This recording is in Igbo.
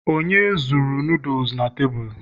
onye zuru noodles na tebụl?